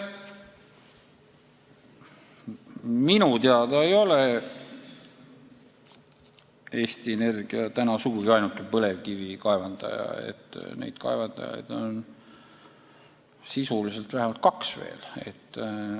Minu teada ei ole Eesti Energia sugugi ainuke põlevkivi kaevandaja, neid kaevandajaid on sisuliselt vähemalt kaks veel.